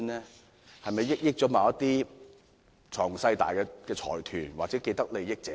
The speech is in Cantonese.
是否惠及某些財雄勢大的財團或既得利益者呢？